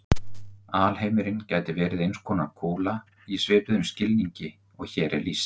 Alheimurinn gæti verið eins konar kúla í svipuðum skilningi og hér er lýst.